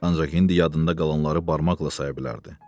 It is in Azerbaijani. Ancaq indi yadında qalanları barmaqla saya bilərdi.